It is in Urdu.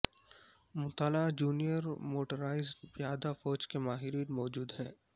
مطالعہ جونیئر موٹرائیزڈ پیادہ فوج کے ماہرین موجود ہیں